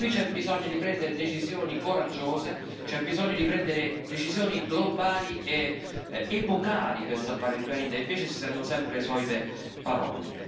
Qui c'è bisogno di prendere decisioni coraggiose, c'è bisogno di prendere decisioni globali ed epocali per salvare il pianeta, e invece si sentono sempre le solite parole.